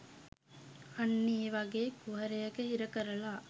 අන්න ඒ වගේ කුහරයක හිර කරලා